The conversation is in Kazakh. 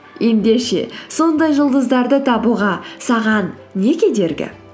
ендеше сондай жұлдыздарды табуға саған не кедергі